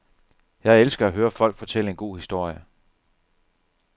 Jeg elsker at høre folk fortælle en god historie.